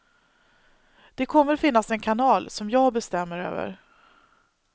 Det kommer att finnas en kanal, som jag bestämmer över.